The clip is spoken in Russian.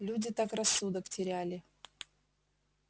люди так рассудок теряли